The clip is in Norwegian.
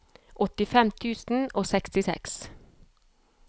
åttifem tusen og sekstiseks